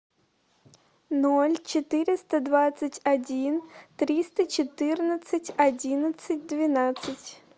ноль четыреста двадцать один триста четырнадцать одиннадцать двенадцать